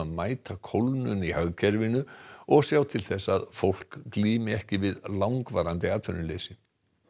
mæta kólnun í hagkerfinu og sjá til þess að fólk glími ekki við langvarandi atvinnuleysi